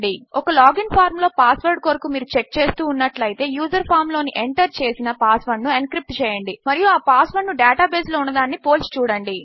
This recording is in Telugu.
ఒక లాగ్ ఇన్ ఫార్మ్ లో పాస్ వర్డ్ కొరకు మీరు చెక్ చేస్తూ ఉన్నట్లు అయితేయూజర్ ఫామ్ లోకి ఎంటర్ చేసిన పాస్ వర్డ్ ను ఎన్క్రిప్ట్ చేయండి మరియు ఆ పాస్ వర్డ్ ను డేటా బేస్ లో ఉన్నదానిని పోల్చి చూడండి